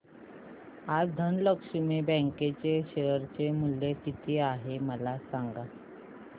आज धनलक्ष्मी बँक चे शेअर चे मूल्य किती आहे मला सांगा